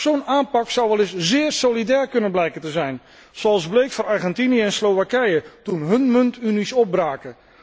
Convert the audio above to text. Zo'n aanpak zou wel eens zeer solidair kunnen blijken te zijn, zoals bleek voor Argentinië en Slowakije toen hun muntunies opbraken.